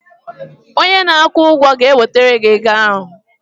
onye na-akwụ ụgwọ ga-ewetara gị ego ahụ